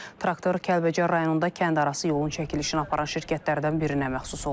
Traktor Kəlbəcər rayonunda kəndarası yolun çəkilişini aparan şirkətlərdən birinə məxsus olub.